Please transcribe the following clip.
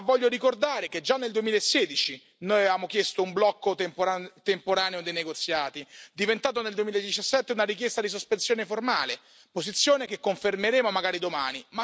Ma voglio ricordare che già nel 2016 noi avevamo chiesto un blocco temporaneo dei negoziati, diventato nel 2017 una richiesta di sospensione formale, posizione che confermeremo magari domani.